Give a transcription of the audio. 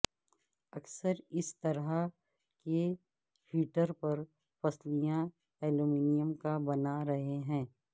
اکثر اس طرح کے ہیٹر پر پسلیاں ایلومینیم کا بنا رہے ہیں